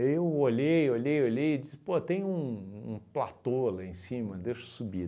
eu olhei, olhei, olhei e disse, pô, tem um um platô lá em cima, deixa eu subir.